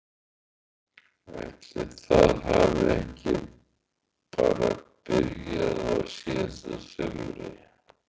Ætli það hafi ekki bara byrjað á síðasta sumri?